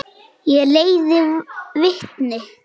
Ég leiði vitni.